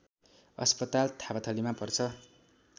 अस्पताल थापाथलीमा पर्छ